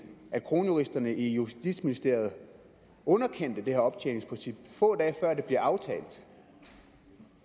at kronjuristerne i justitsministeriet underkendte det her optjeningsprincip få dage før det blev aftalt